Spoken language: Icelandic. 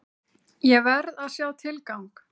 Ég verð að sjá tilgang!